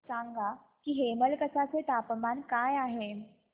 सांगा की हेमलकसा चे तापमान काय आहे